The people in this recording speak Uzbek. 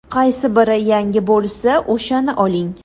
Qaysi biri yangi bo‘lsa, o‘shani oling.